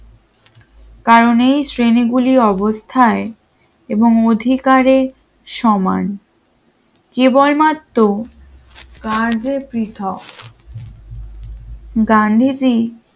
কারণেই শ্রেণীগুলি অবস্থায় এবং অধিকারে সমান কেবলমাত্র গান্ধীজি